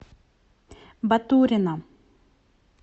батурина